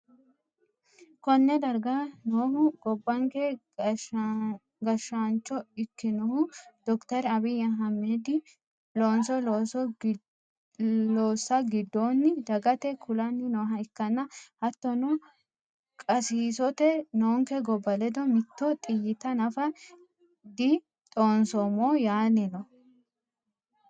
konne darga noohu gobbanke gashshaancho ikkinohu dokiteri abiyyi ahiimedihu loonso loossa giddonni dagate kulanni nooha ikkanna, hattono qasiisote noonke gobba ledo mitto xiyyita nafa didhoonsoommo yaanni no.